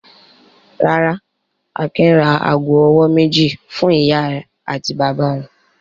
Rárá, Akin ra ago-ọwọ́ méjì fún ìyá àti bàbá rẹ̀.